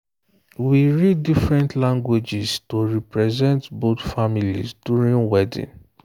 we read different languages to represent both families during wedding.